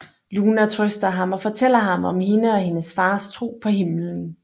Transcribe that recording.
Luna trøster ham og fortæller ham om hende og hendes fars tro på himmelen